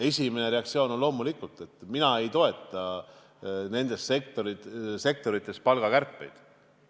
Esimene reaktsioon on loomulikult vastata, et ma ei toeta nendes sektorites palgakärpeid.